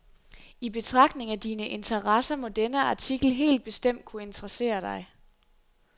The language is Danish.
I betragtning af dine interesser må denne artikel helt bestemt kunne interessere dig.